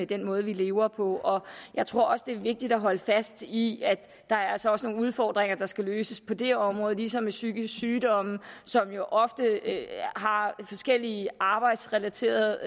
den måde vi lever på jeg tror også at det er vigtigt at holde fast i at der altså også er nogle udfordringer der skal løses på det her område ligesom med psykiske sygdomme som jo ofte har forskellige arbejdsrelaterede